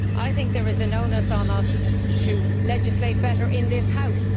I think there is an onus on us to legislate better in this House.